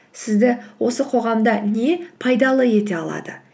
сізді осы қоғамда не пайдалы ете алады